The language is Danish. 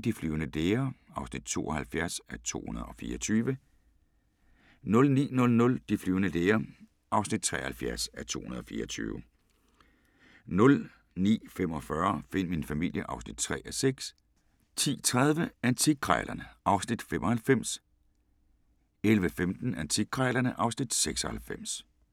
De flyvende læger (72:224) 09:00: De flyvende læger (73:224) 09:45: Find min familie (3:6) 10:30: Antikkrejlerne (Afs. 95) 11:15: Antikkrejlerne (Afs. 96)